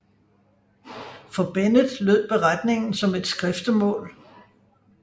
For Bennet lød beretningen som et skriftemål